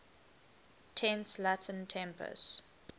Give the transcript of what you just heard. tense latin tempus